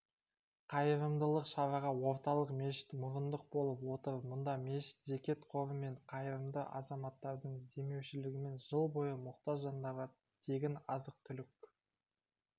қайырымдылық шараға орталық мешіт мұрындық болып отыр мұнда мешіт зекет қоры мен қайырымды азаматтардың демеушілігімен жыл бойы мұқтаж жандарға тегін азық-түлік